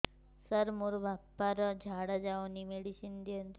ସାର ମୋର ବାପା ର ଝାଡା ଯାଉନି ମେଡିସିନ ଦିଅନ୍ତୁ